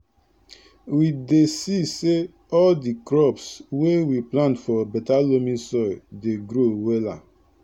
we dey see say all di crops wey we plant for beta loamy soil dey grow wella